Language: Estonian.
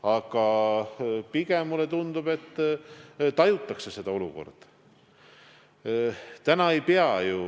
Aga pigem tundub mulle, et tajutakse seda olukorda.